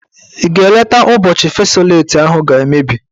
Ị ga eleta ụbọchị fesoleti ahụ ga-emebi?